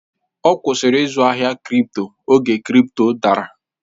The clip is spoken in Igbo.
Ọ kwụsịrị izu ahịa kripto oge kripto dara